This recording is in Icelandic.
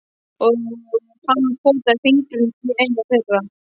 Og hann potaði fingrinum í eina þeirra.